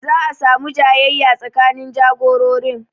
Za'a samu jayayya tsakanin jagororin